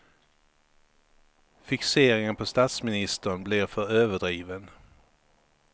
Fixeringen på statsministern blir för överdriven.